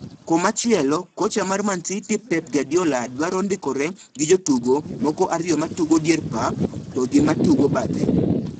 Komachielo kocha mar Man City Pep Guardiola duadro ndikore gi jotugo moko ariyo matugo dier pap to gi ma tugo bathe.